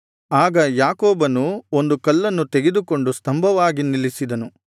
ಆಗ ಯಾಕೋಬನು ಒಂದು ಕಲ್ಲನ್ನು ತೆಗೆದುಕೊಂಡು ಸ್ತಂಭವಾಗಿ ನಿಲ್ಲಿಸಿದನು